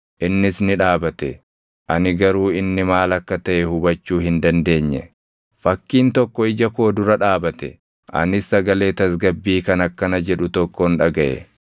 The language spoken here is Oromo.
Innis ni dhaabate; ani garuu inni maal akka taʼe hubachuu hin dandeenye. Fakkiin tokko ija koo dura dhaabate; anis sagalee tasgabbii kan akkana jedhu tokkon dhagaʼe: